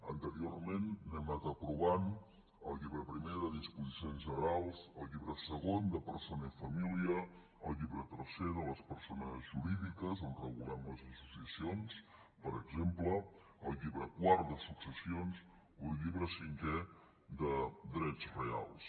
anteriorment n’hem anat aprovant el llibre primer de disposicions generals el llibre segon de persona i família el llibre tercer de les persones jurídiques on regulem les associacions per exemple el llibre quart de successions o el llibre cinquè de drets reals